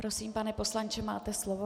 Prosím, pane poslanče, máte slovo.